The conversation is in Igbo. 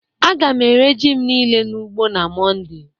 a ga m ere ji m nile n'ugbo na monday